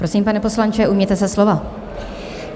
Prosím, pane poslanče, ujměte se slova.